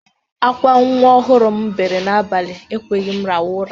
Akwa nwa ọhụrụ m bere n'abalị ekweghi m rahụ ụra.